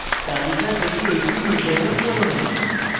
তালিকা থেকে fe নির্বাচন করুন